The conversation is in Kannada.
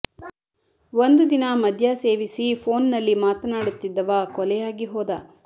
ಒಂದು ದಿನ ಮದ್ಯ ಸೇವಿಸಿ ಪೋನ್ ನಲ್ಲಿ ಮಾತನಾಡುತ್ತಿದ್ದವ ಕೊಲೆಯಾಗಿ ಹೋದ